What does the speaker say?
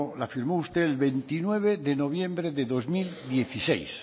la firmó usted el veintinueve de noviembre de dos mil dieciséis